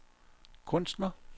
kunstner